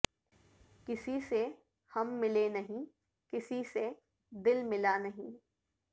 کسی سے ہم ملے نہیں کسی سے دل ملا نہیں